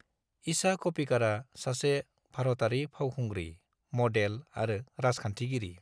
ईशा क'प्पिकारा सासे भारतारि फावखुंग्रि, मडेल आरो राजखान्थिगिरि।